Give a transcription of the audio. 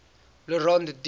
le rond d